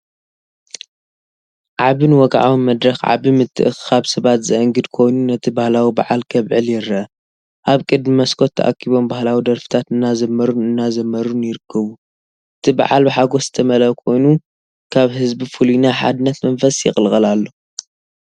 ዓቢን ወግዓውን መድረኽ ዓቢ ምትእኽኻብ ሰባት ዘአንግድ ኮይኑ፡ ነቲ ባህላዊ በዓል ከብዕል ይረአ። ኣብ ቅድሚ መስኮት ተኣኪቦም ባህላዊ ደርፍታት እናዘመሩን እናዘመሩን ይርከቡ። “እቲ በዓል ብሓጎስ ዝተመልአ ኮይኑ ካብ ህዝቢ ፍሉይ ናይ ሓድነት መንፈስ ይቕልቀል ኣሎ!”